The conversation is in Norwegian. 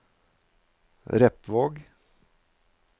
Repvåg